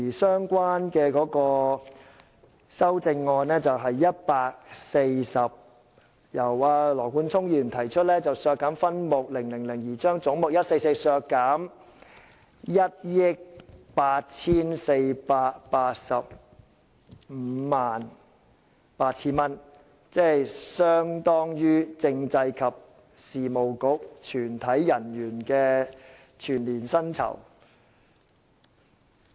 相關修正案的編號是 140， 由羅冠聰議員提出，為削減分目000而將總目144削減 184,858,000 元，相當於政制及內地事務局全體人員的全年薪酬。